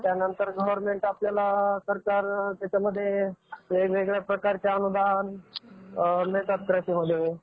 त्यानंतर government सरकार त्याच्यामध्ये वेगवेगळ्या प्रकारचे अनुदान मिळतात कृषीमध्ये.